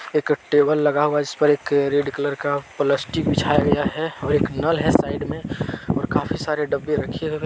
एक टेबल लगा हुआ है जिस पर एक रेड कलर का प्लास्टिक बिछया गया है और एक नल है साइड मे और काफ़ी सारे डब्बे रखे हुए --